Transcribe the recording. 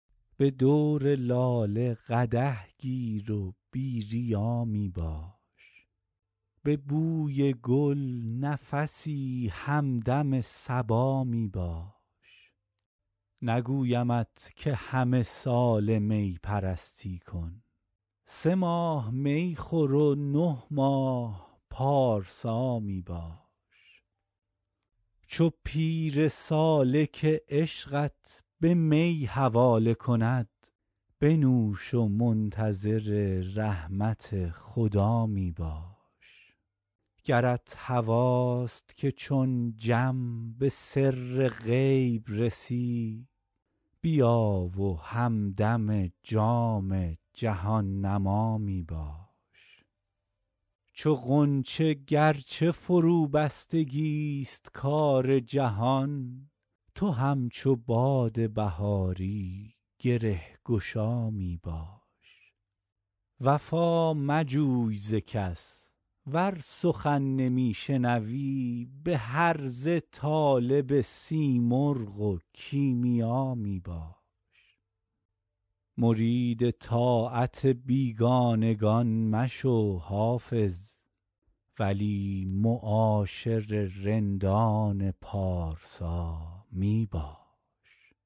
به دور لاله قدح گیر و بی ریا می باش به بوی گل نفسی همدم صبا می باش نگویمت که همه ساله می پرستی کن سه ماه می خور و نه ماه پارسا می باش چو پیر سالک عشقت به می حواله کند بنوش و منتظر رحمت خدا می باش گرت هواست که چون جم به سر غیب رسی بیا و همدم جام جهان نما می باش چو غنچه گر چه فروبستگی ست کار جهان تو همچو باد بهاری گره گشا می باش وفا مجوی ز کس ور سخن نمی شنوی به هرزه طالب سیمرغ و کیمیا می باش مرید طاعت بیگانگان مشو حافظ ولی معاشر رندان پارسا می باش